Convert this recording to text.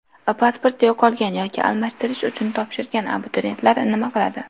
Pasporti yo‘qolgan yoki almashtirish uchun topshirgan abituriyentlar nima qiladi?.